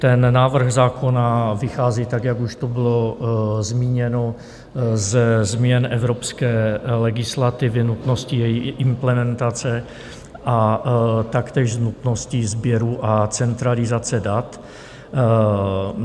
Ten návrh zákona vychází tak, jak už tu bylo zmíněno, ze změn evropské legislativy, nutnosti její implementace a taktéž z nutnosti sběru a centralizace dat.